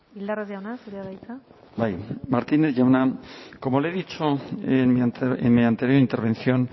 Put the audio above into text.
bildarratz jauna zurea da hitza bai martínez jauna como le he dicho en mi anterior intervención